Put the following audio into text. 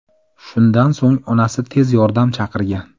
Shundan so‘ng onasi tez yordam chaqirgan.